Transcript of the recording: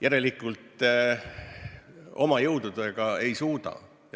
Järelikult, oma jõududega ei suudeta.